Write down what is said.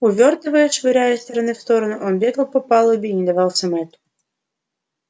увёртываясь швыряя из стороны в сторону он бегал по палубе и не давался мэтту